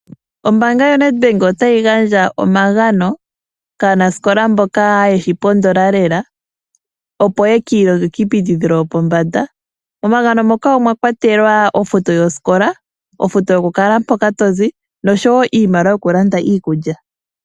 Oombanya yoNedbank otayi gandja omagano kaanasikola mboka yeshipondola lela opo yeki ilongele kiiputudhilo yopombanda. Omagano moka omwa kwatelwa ofuto yosikola, ofuto yokukala mpoka tozi osho woo iimaliwa yokulanda iikulya.